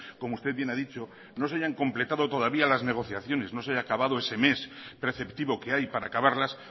como usted bien ha dicho no se hayan completado todavía las negociaciones no se haya acabado ese mes preceptivo que hay para acabarlas